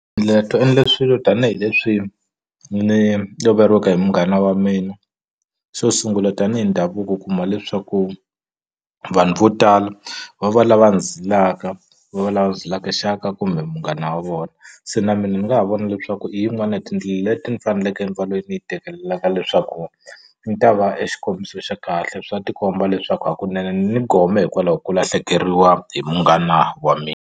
to endle swilo tanihileswi ni loveriweke hi munghana wa mina xo sungula tanihi ndhavuko u kuma leswaku vanhu vo tala va va lava zilaka va lava zilaka xaka kumbe munghana wa vona se na mina ni nga ha vona leswaku i yin'wani ya tindlela leti ni faneleke ni va lweyi ni yi tekelaka leswaku ni ta va exikombiso xa kahle swa tikomba leswaku hakunene ni ni gome hikwalaho ko lahlekeriwa hi munghana wa mi.